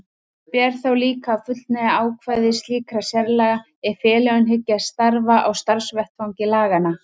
Ber þá líka að fullnægja ákvæðum slíkra sérlaga ef félögin hyggjast starfa á starfsvettvangi laganna.